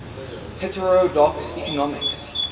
heterodox economics